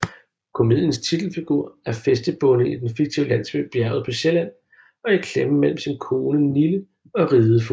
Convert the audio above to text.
Komediens titelfigur er fæstebonde i den fiktive landsby Bjerget på Sjælland og i klemme mellem sin kone Nille og ridefogeden